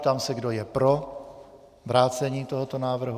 Ptám se, kdo je pro vrácení tohoto návrhu.